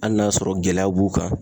Hali n'a y'a sɔrɔ gɛlɛyaw b'u kan